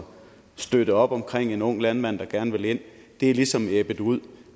støtte op om en ung landmand der gerne vil ind ligesom er ebbet ud